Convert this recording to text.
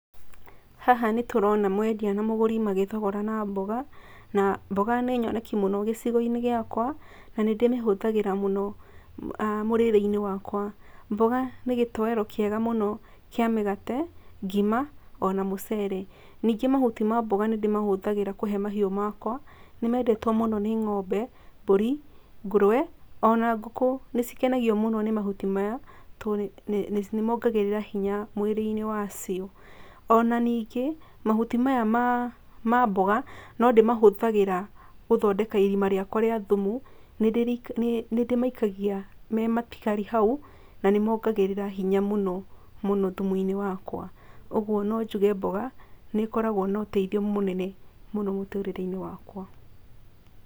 Haha nĩ tũrona mwendĩa na mũgũrũ makĩthĩgorana mboga, na mboga nĩ nyonekĩ mũno gĩcĩgo-ĩnĩ gĩakwa, na nĩ ndĩ mĩhũthagĩra mũno mũrereĩnĩ wakwa. Mboga nĩ gĩtowero kiega muno kĩa mĩgate, ngĩma ona mũcere. Nĩngĩ mahũtĩ ma mboga nĩ ndĩ mahũthagĩra kũhe mahĩũ makwa, nĩ mendetwo mũno nĩ ng’ombe, mbũrĩ, ngũrwe, ona ngũkũ nĩ cĩkenangĩo mũno nĩ mahũtĩ maya tondũ nĩ mongereraga hĩnya mĩĩrĩ-inĩ yacĩo. Ona nĩngĩe mahũtĩ maya mamboga no ndĩ mahũthagĩra gũthondeka ĩrĩma rĩakwa rĩa thũmũ, nĩ ndĩ maĩkagĩa me matĩgarĩ haũ na nĩ mongeragera hĩnya mũno, mũno thũmũ-ĩnĩ wakwa. Ũgũo no njũge mboga nĩ ĩkoragwo na ũteĩthĩo mũnene mũno mũtũrereĩnĩ wakwa.